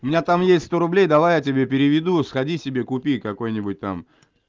у меня там есть что рублей давай я тебе переведу сходи себе купи какой-нибудь там